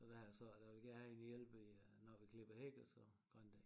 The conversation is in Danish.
Så der har jeg sagt jeg vil gerne have en hjælper til når vi klipper hæk og så grandækning